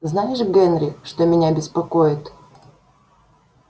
знаешь генри что меня беспокоит